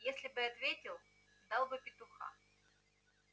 если бы ответил дал бы петуха